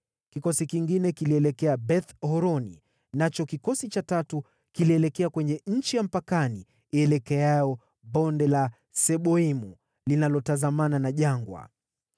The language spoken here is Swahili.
kikosi kingine kilielekea Beth-Horoni, nacho kikosi cha tatu kilielekea kwenye nchi ya mpakani ielekeayo Bonde la Seboimu linalotazamana na jangwa.